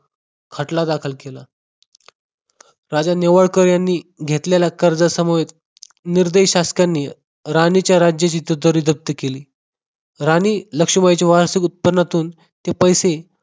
खटला दाखल केला. राजा नेवाळकर यांनी घेतलेलं कर्ज समुहीत निर्दयी शासकांनी राणीच्या राज्याची तुतारी जप्त केली, राणी लक्ष्मीबाई चे वार्षिक उत्पन्नातून ते पैसे